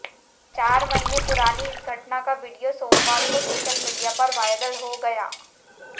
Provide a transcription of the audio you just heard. चार महीने पुरानी इस घटना का वीडियो सोमवार को सोशल मीडिया पर वायरल हो गया